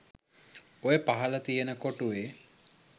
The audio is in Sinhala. ඔය පහල තියෙන කොටුවේ